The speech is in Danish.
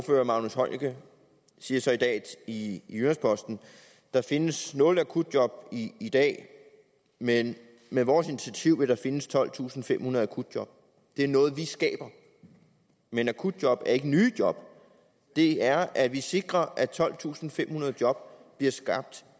herre magnus heunicke siger så i dag i jyllands posten der findes nul akutjob i dag med med vores initiativ vil der findes tolvtusinde og femhundrede akutjob det er noget vi skaber men akutjob er ikke nye job det er at vi sikrer at tolvtusinde og femhundrede job bliver skabt